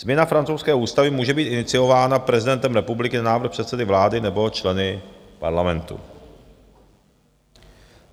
Změna francouzské ústavy může být iniciována prezidentem republiky na návrh předsedy vlády nebo členy parlamentu.